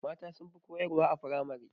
Mata sunfi koyar wa a firamare